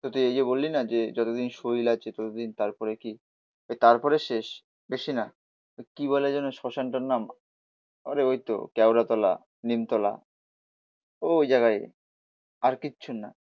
তো তুই এই যে বললি না যে যতদিন শরীর আছে ততোদিন তারপরে কি, তারপরে শেষ। বেশি না ওই কি বলে যেন শ্মশানটার নাম আরে ঐতো কেওড়া তলা, নিমতলা ও ওই জায়গায়, আর কিছু না